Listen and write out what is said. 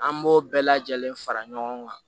An b'o bɛɛ lajɛlen fara ɲɔgɔn kan